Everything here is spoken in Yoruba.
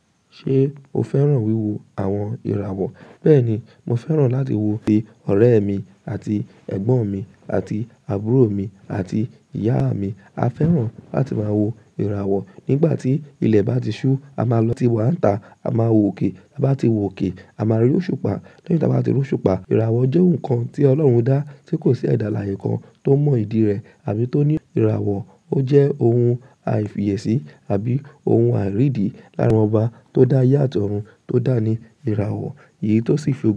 Ṣé o fẹ́ràn wíwo àwọn ìràwọ̀? Bẹ́ẹ̀ni, mo fẹ́ràn láti wo òkè ọ̀rẹ́ mi àti ẹ̀gbọ́n mi àti àbúrò mi àti ìyá mi. A fẹ́ràn láti máa wo ìràwọ̀ nígbà tí ilẹ̀ bá ti ṣú, a máa lọ ti wàńta, a máa wo òkè, tabá ti wòkè, a máa rí òṣùpá, lẹyin tí a bá ti rí òṣùpá. Ìràwọ̀ jẹ́ ohun kan tí Ọlọ́run dá tí kò sí ẹda alàyè kan tó mọ ìdí rẹ̀ àbí tó ní ìràwọ̀. Ó jẹ́ ohun àìfiyèsí àbí ohun àìrédì lára ọba tó dá aye àti ọ̀run tó dáa ni ìràwọ̀. Èyí tó sì fi.